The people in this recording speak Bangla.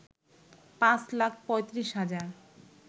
৫ লাখ ৩৫ হাজার